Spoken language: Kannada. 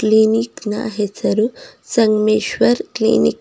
ಕ್ಲಿನಿಕ್ ನ ಹೆಸರು ಸಂಗಮೇಶ್ವರ ಕ್ಲಿನಿಕ್ .